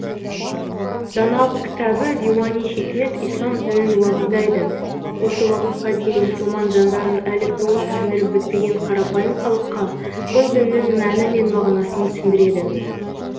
даналық кітабы диуани хикмет ислам дінін уағыздайды осы уақытқа дейін мұсылман заңдарын әлі толық сіңіріп бітпеген қарапайым халыққа бұл діннің мәні мен мағынасын түсіндіреді